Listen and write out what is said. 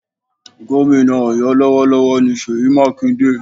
Gómìnà Ọ̀yọ́ lọ́wọ́lọ́wọ́ ni Ṣèyí Mákindé